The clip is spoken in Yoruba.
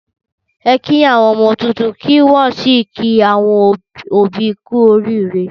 Ẹ kí àwọn ọmọ tuntun kí wọ́n sì kí àwọn òbí kú oríire.